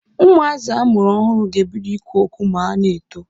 Ụmụazị amụrụ ọhụrụ ga-ebido ikwu okwu ma ọ na-eto.